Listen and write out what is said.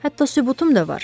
Hətta sübutum da var.